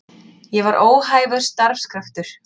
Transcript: Ég var óhæfur starfskraftur.